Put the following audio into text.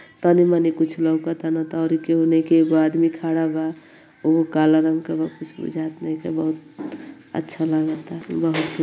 तनिमनी कुछ लउकता न त अउरी केहू नइखे एगो आदमी खड़ा बा उहो काला रंग के बा कुछ बुझात नाइके बहुत अच्छा लागता बहुत बहुत --